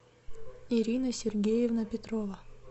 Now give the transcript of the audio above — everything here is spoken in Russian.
ирина сергеевна петрова